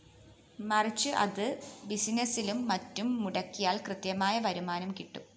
മറിച്ച് അത് ബിസിനസ്സിലും മറ്റും മുടക്കിയാല്‍ കൃത്യമായ വരുമാനം കിട്ടും